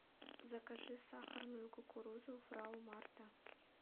закажи сахарную кукурузу фрау марта